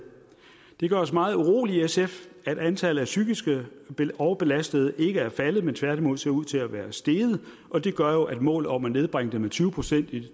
det gør os meget urolige i sf at antallet af psykiske overbelastede ikke er faldet men tværtimod ser ud til at være steget og det gør jo at målet om at nedbringe det med tyve procent i